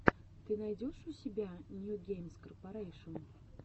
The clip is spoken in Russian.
ты найдешь у себя нью геймс корпарэйшн